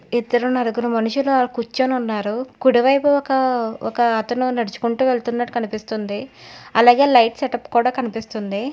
ఇద్దరు నాలుగురు మనుషులు ఆడ కూర్చుని ఉన్నారు కుడివైపు ఒక ఒక అతను నడుచుకుంటూ వెళ్తునట్టు కనిపిస్తుంది అలాగే లైట్ సెటప్ కూడా కనిపిస్తుంది.